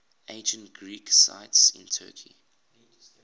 ancient greek sites in turkey